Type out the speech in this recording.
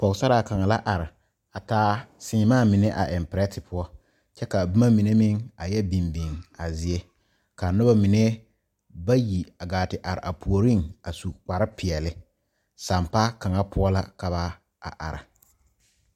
Pɔgesaraa kaŋa la are a taa seemaa mine a eŋ pɛrɛte poɔ kyɛ ka a boma mine meŋ a yɛ biŋ biŋ a zie ka noba mine bayi a gaa te are a puoriŋ a su kparre peɛle sampaa kaŋa poɔ la ka ba are.